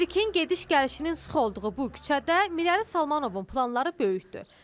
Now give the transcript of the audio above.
Lerikin gediş-gəlişinin sıx olduğu bu küçədə Mirəli Salmanovun planları böyükdür.